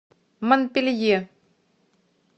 монпелье